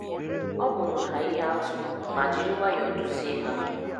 Ọ bụụrụ ha ihe atụ ma jiri nwayọọ duzie ha.